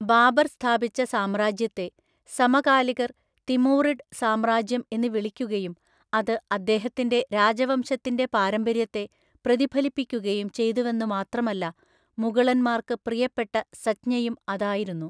ബാബർ സ്ഥാപിച്ച സാമ്രാജ്യത്തെ സമകാലികർ തിമൂറിഡ് സാമ്രാജ്യം എന്ന് വിളിക്കുകയും അത് അദ്ദേഹത്തിന്‍റെ രാജവംശത്തിന്‍റെ പാരമ്പര്യത്തെ പ്രതിഫലിപ്പിക്കുകയും ചെയ്തുവെന്നു മാത്രമല്ല മുഗളന്മാര്‍ക്ക് പ്രിയപ്പെട്ട സംജ്ഞയും അതായിരുന്നു.